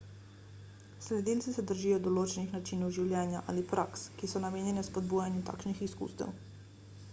sledilci se držijo določenih načinov življenja ali praks ki so namenjene spodbujanju takšnih izkustev